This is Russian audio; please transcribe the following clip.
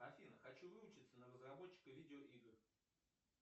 афина хочу выучиться на разработчика видеоигр